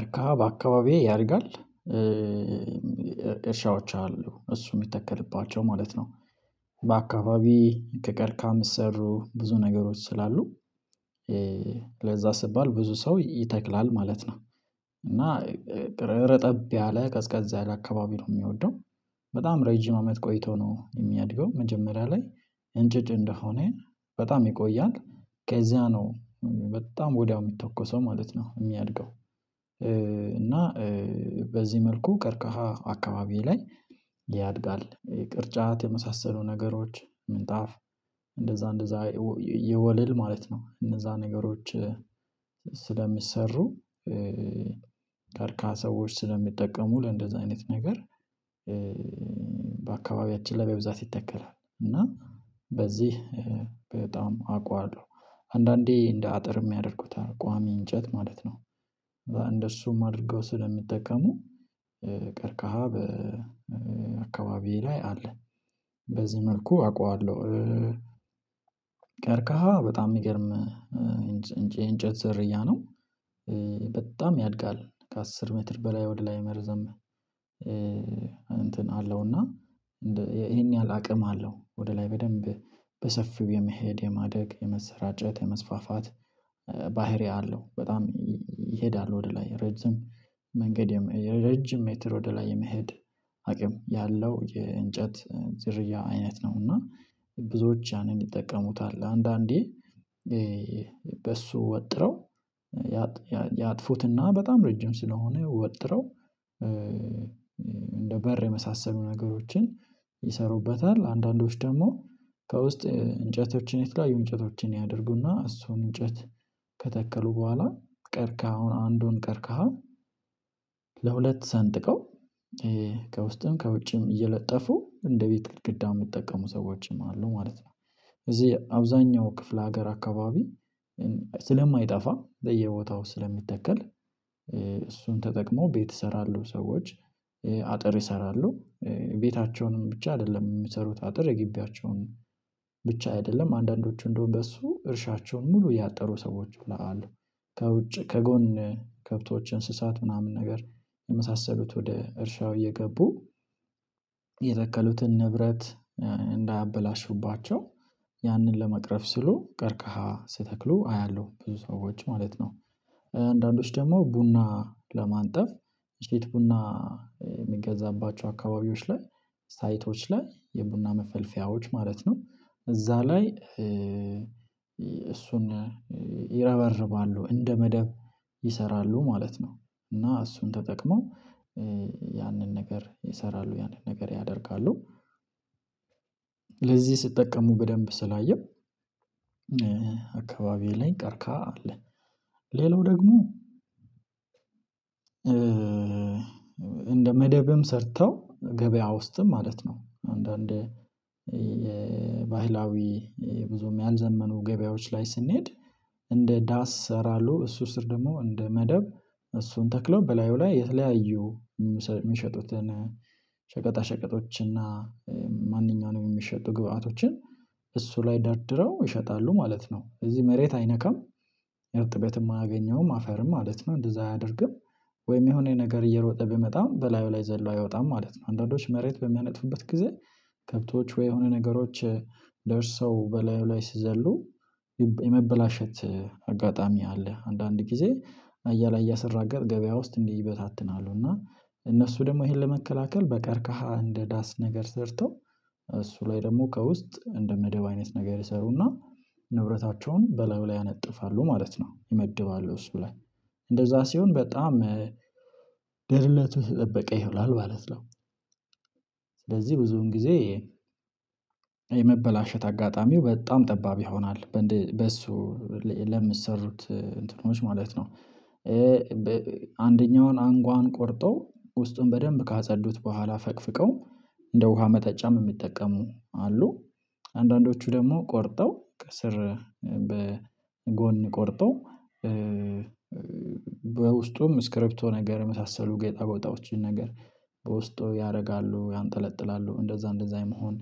እርካ በአካባቢዬ ያድጋል። እርሻዎች አሉ እሱ የሚተከልባቸው ማለት ነው በአካባቢ ከቀርካም ስሩ ብዙ ነገሮች ስላሉ ለዛ ስባል ብዙ ሰው ይተክላል ማለት ነው። እና ረጠብ ያለ ቀዝቀዛ ያለ አካባቢ ነው የሚወደው በጣም ረጅም አመት ቆይቶ ነው የሚያድገው መጀመሪያ ላይ እንጭጭ እንደሆነ በጣም ይቆያል ከዚያ ነው በጣም ወዲያው የሚተኮሰው ማለት ነው የሚያድገው። እና በዚህ መልኩ ቀርከሃ አካባቢዬ ላይ ያድጋል ቅርጫት የመሳሰሉ ነገሮች ምንጣፍ እንደዛ እንደዛ የወለል ማለት ነው እነዛ ነገሮች ስለሚሰሩ። ቀርካሃ ሰዎች ስለሚጠቀሙ ለእንደዚህ አይነት ነገር በአካባቢያችን ላይ በብዛት ይተከላል እና በዚህ በጣም አውቃለሁ። አንዳንዴ እንደ አጥር የሚያደርጉት ቋሚ እንጨት ማለት ነው እንደሱም አድርገው ስለሚጠቀሙ ቀርካሃ በአካባቢዬ ላይ አለ። በዚህ መልኩ አውቃለሁ ቀርካሃ በጣም የሚገርም የእንጨት ዘርያ ነው በጣም ያድጋል ከአስር ሜትር በላይ ወደ ላይ መርዘም። እንትን አለውና ይሄን ያህል አቅም አለው ወደ ላይ በደንብ በሰፊው የመሄድ የማደግ የመሰራጨት የመስፋፋት ባህሪ አለው በጣም ይሄዳሉ ወደላይ ረጅም መንገድ ረጅም ሜተር ወደላይ የመሄድ አቅም ያለው የእንጨት ዝርያ አይነት ነው። እና ብዙዎች ያንን ይጠቀሙታል አንዳንዴ በሱ ወጥረው ያጥፉትና በጣም ረጅም ስለሆነ ወጥረው እንደ በር የመሳሰሉ ነገሮችን ይሰሩበታል አንዳንዶች ደግሞ ከውስጥ እንጨቶችን የተለያዩ እንጨቶችን ያደርጉና እሱን እንጨት ከተከሉ በኋላ ቀርካሁን አንዱን ቀርከሃ ለሁለት ሰንጥቀው ከውስጥም ከውጭም እየለጠፉ እንደ ቤት ግድ የምትጠቀሙ ሰዎች አሉ ማለት ነው። እዚህ አብዛኛው ክፍለ ሀገር አካባቢ ስለማይጠፋ በየቦታው ስለሚተከል እሱን ተጠቅመው ቤት ይሰራሉ ሰዎች አጥር ይሰራሉ ቤታቸውንም ብቻ አይደለም የሚሰሩት አጥር የጊቢያቸውንም ብቻ አይደለም አንዳንዶቹ እንደውም በሱ እርሻቸውን ሙሉ እያጠሩ ሰዎች ብለው አሉ። ከውጭ ከጎን ከብቶች እንስሳት ምናምን ነገር የመሳሰሉት ወደ እርሻው እየገቡ የተከሉትን ንብረት እንዳያበላሹባቸው ያንን ለመቅረፍ ስሉ ቀርቀሃ ስተክሉ አያለሁ ብዙ ሰዎች ማለት ነው። አንዳንዶች ደግሞ ቡና ለማንጠፍ ቼት ቡና የምንገዛባቸው አካባቢዎች ላይ ሳይቶች ላይ የቡና መፈልፈያዎች ማለት ነው እዛ ላይ እሱን ይረበርባሉ እንደ መደብ ይሰራሉ ማለት ነው። እና እሱን ተጠቅሞ ያንን ነገር ይሰራሉ ያንን ነገር ያደርጋሉ ለዚህ ስትጠቀሙ በደንብ ስላየሁ አካባቢ ላይ ቀርከሃ አለ። ሌላው ደግሞ እንደ መደብም ሰርተው ገበያ ውስጥም ማለት ነው አንዳንድ ባህላዊ ብዙም ያልዘመኑ ገበያዎች ላይ ስንሄድ እንደ ዳስ እሰራለሁ እሱ ስር ደግሞ እንደ መደብ እሱን ተክሎ በላዩ ላይ የተለያዩ የሚሸጡትን ሸቀጣ ሸቀጦች እና ማንኛውንም የሚሸጡ ግብአቶችን እሱ ላይ ደርድረው ይሸጣሉ ማለት ነው። እዚህ መሬት አይነካም እርጥበትም አያገኘውም አፈርም ማለት ነው እንደዛ አያደርግም ወይም የሆነ ነገር እየሮጠ ብመጣም በላዩ ላይ ዘሎ አይወጣም ማለት ነው። አንዳንዶች መሬት በሚያነጥፉበት ጊዜ ከብቶች ወይ የሆነ ነገሮች ደርሰው በላዩ ላይ ስዘሉ የመበላሸት አጋጣሚ አለ አንዳንድ ጊዜ አያ ላይ እያሰራገር ገበያ ውስጥ እንዲህ ይበታትናሉ እና እነሱ ደግሞ ይሄን ለመከላከል በቀርካሃ እንደ ዳስ ነገር ሰርተው እሱ ላይ ደግሞ ከውስጥ እንደ መደብ አይነት ነገር ይሰሩና ንብረታቸውን በላዩ ላይ ያነጥፋሉ ማለት ነው። የመደባለው እሱ ብላ እንደዛ ሲሆን በጣም ደህንነቱ የተጠበቀ ይሆናል ማለት ነው። ስለዚህ ብዙውን ጊዜ የመበላሸት አጋጣሚው በጣም ጠባብ ይሆናል በእሱ ለምትሰሩት እንትኖች ማለት ነው። አንደኛውን አንጓን ቆርጠው ውስጡን በደንብ ካጸዱት በኋላ ፈቅፍቀው እንደ ውሃ መተጫም የሚጠቀሙ አሉ አንዳንዶቹ ደግሞ ቆርጠው ከስር በጎን ቆርጠው በውስጡም ስክሪፕቶ ነገር የመሳሰሉ ጌጣጎጣዎችን ነገር በውስጡ ያደርጋሉ ያንጠለጥላሉ እንደዛ እንደዛ የመሆን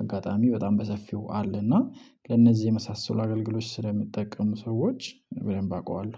አጋጣሚ በጣም በሰፊው አለ እና ከእነዚህ የመሳሰሉ አገልግሎች ስለሚጠቀሙ ሰዎች በደንብ አውቃለሁ።